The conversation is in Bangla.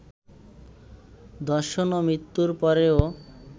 ধর্ষণ ও মৃত্যুর পরেও